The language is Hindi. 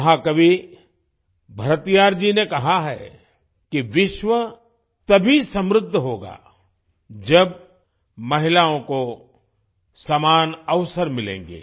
महाकवि भरतियार जी ने कहा है कि विश्व तभी समृद्ध होगा जब महिलाओं को समान अवसर मिलेंगे